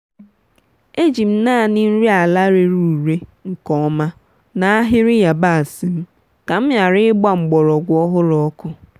e jiri m naanị nri ala rere ure nke ọma n’ahịrị yabasị m ka m ghara ịgba mgbọrọgwụ ọhụrụ ọkụ.